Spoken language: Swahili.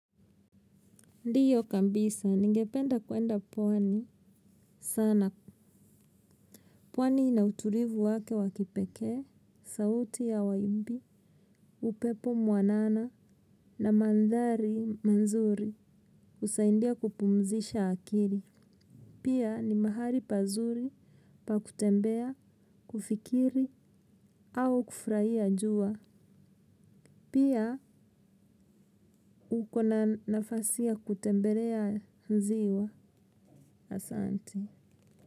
Ndiyo kambisa, ningependa kuenda pwani, sana pwani ina uturivu wake wakipeke, sauti ya waimbi, upepo mwanana na mandhari manzuri usaindia kupumzisha akiri. Pia ni mahali pazuri pa kutembea, kufikiri au kufuraia jua. Pia uko na nafasi ya kutembelea nziwa asanti.